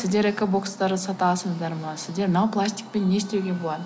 сіздер экобокстарды сатасыздар ма сіздер мынау пластикпен не істеуге болады